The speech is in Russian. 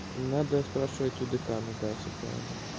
надо спрашивать у декана да всё правильно